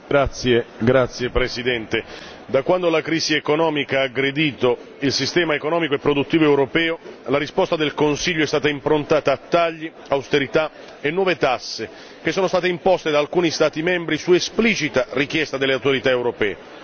Signor Presidente, onorevoli colleghi, da quando la crisi economica ha aggredito il sistema economico e produttivo europeo, la risposta del Consiglio è stata improntata a tagli, austerità e nuove tasse che sono state imposte da alcuni Stati membri su esplicita richiesta delle autorità europee.